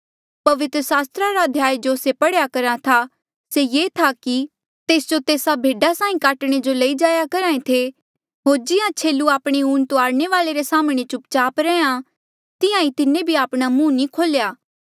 पवित्र सास्त्रा रा अध्याय जो से पढ़ेया करहा था से ये था कि तेस जो तेस्सा भेडा साहीं काटणे जो लई जाया करहा ऐें थे होर जिहां छेलू आपणे ऊन तूआरने वाले रे साम्हणें चुप चाप रैंहयां तिहां ईं तिन्हें भी आपणा मुंह नी खोल्या